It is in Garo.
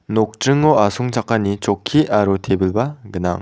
nokdringo asongchakani chokki aro tebilba gnang.